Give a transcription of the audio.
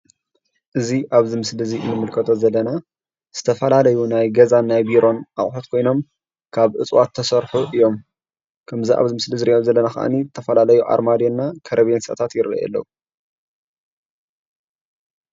እዚ ኣብዚ ምስሊ እንምልከቶ ዘለና ዝተፈላለዩ ናይ ገዛን ናይ ቢሮን ኣቑሑት ኮይኖም ካብ እፅዋት ዝተሰርሑ እዮም። ከምዝ ኣብ ምስሊ እንሪኦ ዘለና ከዓኒ ዝተፈላለዩ ኣርማድዮ እና ከርቤሎታት ይረአዩ ኣለዉ።